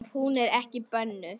Ef hún er ekki bönnuð.